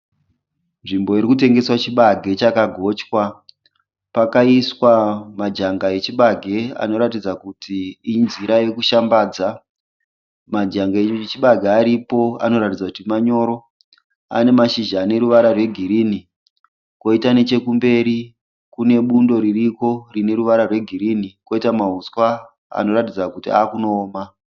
Nzvimbo iri kutengeswa chibage chakagochwa. Pakaiswa majanga echibage anoratidza kuti inzira yokushambadza. Majanga echibage aripo anoratidza kuti manyoro ane mashizha ane ruvara rwegirinhi kwoita nechekumberi kune bundo ririko rine ruvara rwegirinhi kwoita mahuswa anoratidza kuti akunooma.